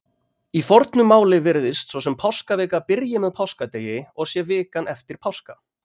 Í fornu máli virðist svo sem páskavika byrji með páskadegi og sé vikan eftir páska.